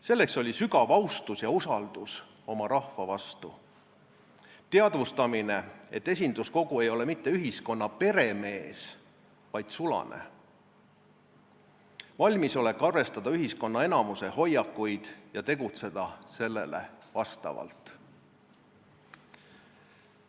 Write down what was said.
See oli sügav austus ja usaldus oma rahva vastu – teadvustamine, et esinduskogu ei ole mitte ühiskonna peremees, vaid sulane; valmisolek arvestada ühiskonna enamuse hoiakuid ja tegutseda sellele vastavalt.